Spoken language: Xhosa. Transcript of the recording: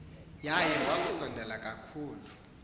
yayo wakusondela kakhulu